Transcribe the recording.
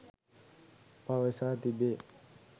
පවසා තිබේ.